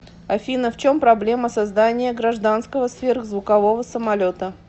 афина в чем проблема создания гражданского сверхзвукового самолета